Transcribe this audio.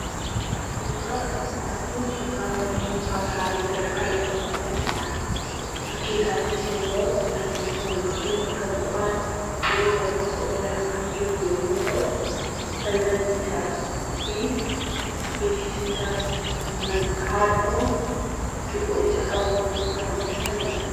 Suuraan asirratti arginu suuraa mana barumsaa Salaalee Sadarkaa Lammaffaa jirudha. Bukkee isaattis immoo mallattoon bakka bu'aa biiroo barnoota Oromiyaa kan jiru yoo ta’u, Balballi isaa fi beeksisni isaas halluu cuquliisa qabuun kan hojjetamedha.